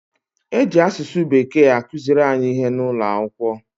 E ji asụsụ Bekee akụziri anyị ihe n'ụlọ akwụkwọ.